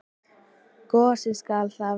Gosi skal það vera.